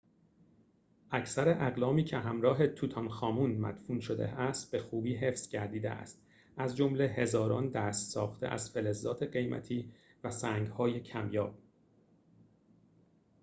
اکثر اقلامی که همراه توت‌عنخ‌آمون مدفون شده است به خوبی حفظ گردیده است از جمله هزاران دست‌ساخته از فلزات قیمتی و سنگ‌های کمیاب